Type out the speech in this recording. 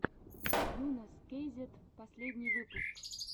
йунесскейзет последний выпуск